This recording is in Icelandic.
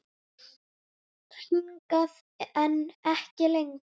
Hingað, en ekki lengra.